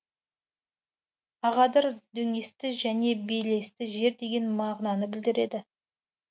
ағадыр дөңесті және белесті жер деген мағынаны білдіреді